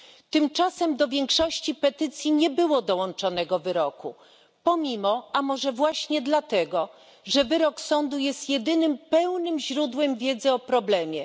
Tymczasem do większości petycji nie dołączano wyroku, pomimo, a może właśnie dlatego, że wyrok sądu jest jedynym pełnym źródłem wiedzy o problemie.